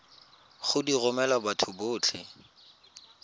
go di romela batho botlhe